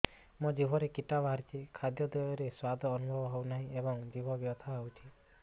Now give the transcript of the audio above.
ମୋ ଜିଭରେ କିଟା ବାହାରିଛି ଖାଦ୍ଯୟରେ ସ୍ୱାଦ ଅନୁଭବ ହଉନାହିଁ ଏବଂ ଜିଭ ବଥା ହଉଛି